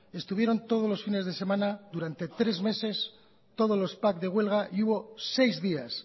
estuvieron todos los fines de semana durante tres meses todos los de huelga y hubo seis días